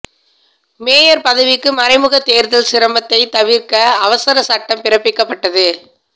mayor பதவிக்கு மறைமுக தேர்தல் சிரமத்தை தவிர்க அவசர சட்டம் பிறப்பிக்கப்பட்டது